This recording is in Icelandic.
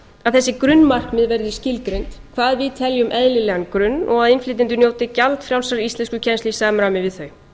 máli að þessi grunnmarkmið verði skilgreind hvað við teljum eðlilegan grunn að innflytjendur njóti gjaldfrjálsrar íslenskukennslu í samræmi við þau